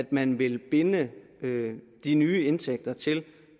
man vil binde de nye indtægter til